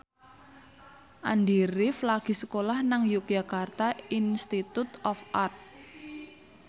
Andy rif lagi sekolah nang Yogyakarta Institute of Art